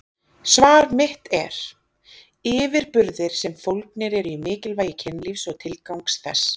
Svar mitt er: yfirburðir sem fólgnir eru í mikilvægi kynlífs og tilgangs þess.